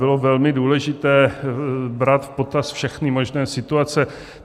Bylo velmi důležité brát v potaz všechny možné situace.